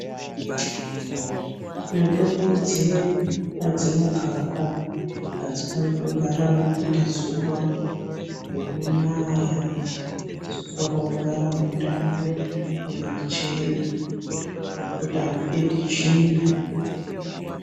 Mitombo dzedu padzinogara adzifaniri kugara munopinda zuwa, munonaya dzinofanira kugara mundau mwakachena mwokuti amupindi tsvina.